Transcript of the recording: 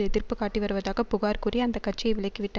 எதிர்ப்பு காட்டி வருவதாக புகார் கூறி அந்த கட்சியை விலக்கி விட்ட